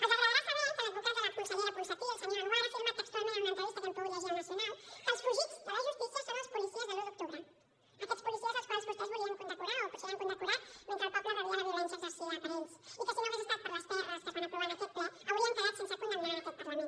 els agradarà saber que l’advocat de la consellera ponsatí el senyor anwar ha afirmat textualment en una entrevista que hem pogut llegir a el nacional que els fugits de la justícia són els policies de l’un d’octubre aquests policies als quals vostès volien condecorar o potser ja han condecorat mentre el poble rebia la violència exercida per ells i que si no hagués estat per les prs que es van aprovar en aquest ple haurien quedat sense condemnar en aquest parlament